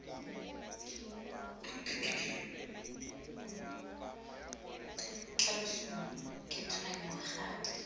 tla losong ke tshwenngwa gape